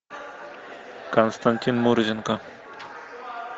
константин мурзенко